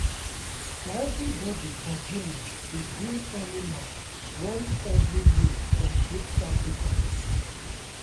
everybody for village dey bring animal once every year for group sacrifice.